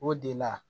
O de la